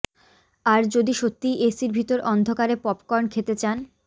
আর যদি সত্যিই এসির ভিতর অন্ধকারে পপকর্ন খেতে চান